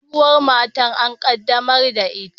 Sabuwar matar an qaddamar da ita